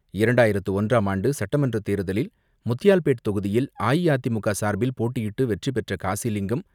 இரண்டாயிரத்து ஒன்றாம் ஆண்டு சட்டமன்றத் தேர்தலில் முத்தியால்பேட் தொகுதியில் அஇஅதிமுக சார்பில் போட்டியிட்டு வெற்றி பெற்ற காசிலிங்கம்,